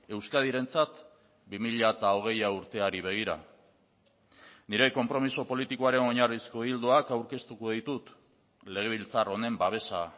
euskadirentzat bi mila hogeia urteari begira nire konpromiso politikoaren oinarrizko ildoak aurkeztuko ditut legebiltzar honen babesa